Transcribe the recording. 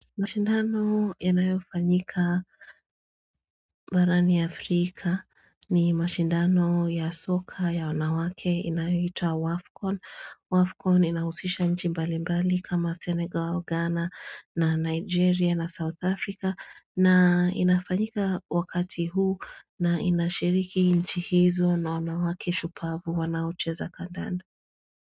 Mashindano yanayofanyika Barani Afrika ni mashindano ya soka ya wanawake inahitwa WAFCON WAFCON inahusisha nchi mbali mbali kama senegal wa Ghana na Nigeria na South Africa na inafanyika wakati huu na inashiriki nchi hizo na wanawake shupavu wanaocheza kandanda.